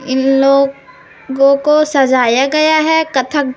इन logo को सजाया गया है कथक--